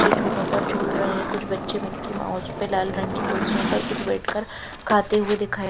ये जुलो पर जुल रहे है कुछ बच्चे मिक्की माउस पे लाल रंग की कुर्सियों पर कुछ बेठ कर खाते हुए दिखाई--